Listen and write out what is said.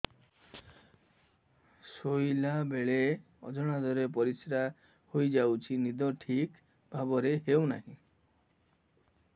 ଶୋଇଲା ବେଳେ ଅଜାଣତରେ ପରିସ୍ରା ହୋଇଯାଉଛି ନିଦ ଠିକ ଭାବରେ ହେଉ ନାହିଁ